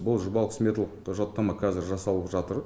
бұл жобалық сметалық құжаттама қазір жасалып жатыр